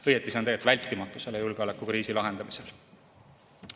Õieti on see tegelikult vältimatu selle julgeolekukriisi lahendamisel.